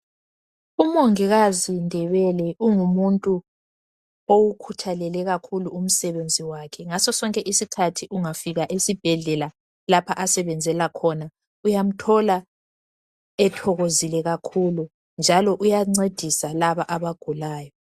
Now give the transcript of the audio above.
Umongikazi Ndebele ungumuntu owukhuthalele kakhulu umsebenzi wakhe ngaso sonke isikhathi ungafika esibhedlela lapho asebenzela khona uyamthola ethokozile kakhulu njalo uyancedisa laba abagulayo.